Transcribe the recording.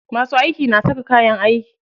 Masu aiki na saka kayan aiki.